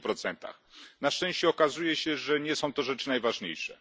10 Na szczęście okazuje się, że nie są to kwestie najważniejsze.